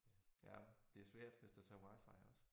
Jeg det svært hvis der så er wi-fi også